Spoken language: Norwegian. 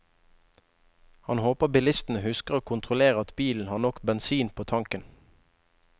Han håper bilistene husker å kontrollere at bilen har nok bensin på tanken.